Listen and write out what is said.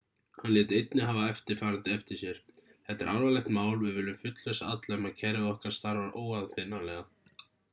hann lét einnig hafa eftirfarandi eftir sér þetta er alvarlegt mál við viljum fullvissa alla um að kerfið okkar starfar óaðfinnanlega